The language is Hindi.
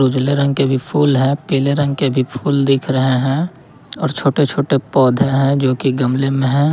उजले रंग के भी फूल है पीले रंग के भी फूल दिख रहे हैं और छोटे छोटे पौधे हैं जो की गमले में है।